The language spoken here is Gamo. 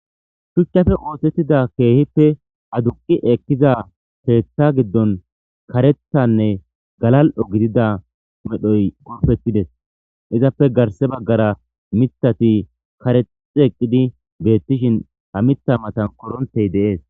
Shuchappe ossetida kehippe aduqi eqidda ketha giddoni karethane galali'o gidida medhoyi betidesi izappe garissa baggara mithati karexxi eqidi betishin ha mitha mattani koroniteyi desi